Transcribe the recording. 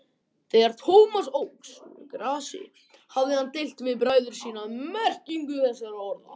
Þegar Thomas óx úr grasi hafði hann deilt við bræður sína um merkingu þessara orða.